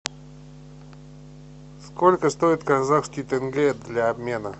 сколько стоит казахский тенге для обмена